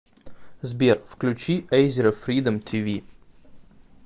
сбер включи эйзера фридом ти ви